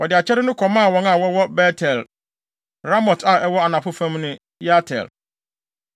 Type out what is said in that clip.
Wɔde akyɛde no kɔmaa wɔn a wɔwɔ Bet-El, Ramot a ɛwɔ anafo fam ne Yatir;